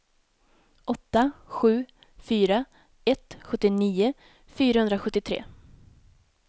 åtta sju fyra ett sjuttionio fyrahundrasjuttiotre